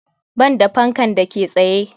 Banda fankan da ke tsaye.